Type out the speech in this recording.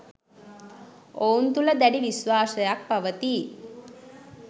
ඔවුන් තුළ දැඩි විශ්වාසයක් පවතී